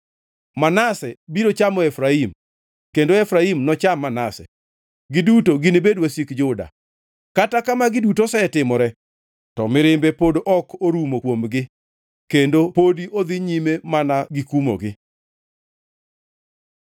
Manase biro chamo Efraim kendo Efraim nocham Manase; giduto ginibed wasik Juda. Kata ka magi duto osetimore, to mirimbe pod ok orumo kuomgi kendo pod odhi nyime mana gikumogi.